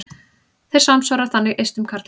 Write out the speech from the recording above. Þeir samsvara þannig eistum karla.